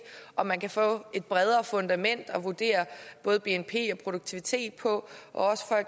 om man kan få et bredere fundament at vurdere både bnp og produktivitet på og